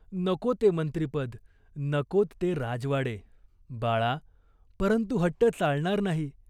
नको ते मंत्रिपद, नकोत ते राजवाडे." "बाळा परंतु हट्ट चालणार नाही.